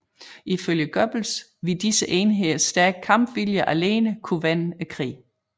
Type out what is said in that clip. Ifølge Goebbels ville disse enheders stærke kampvilje alene kunne vende krigen